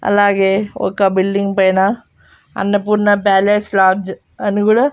అలాగే ఒక బిల్డింగ్ పైన అన్నపూర్ణ ప్యాలెస్ లాడ్జ్ అని కూడా.